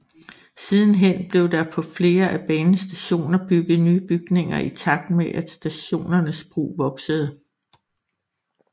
Sidenhen blev der på flere af banens stationer bygget nye bygninger i takt med at stationernes brug voksede